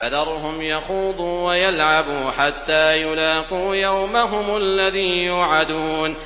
فَذَرْهُمْ يَخُوضُوا وَيَلْعَبُوا حَتَّىٰ يُلَاقُوا يَوْمَهُمُ الَّذِي يُوعَدُونَ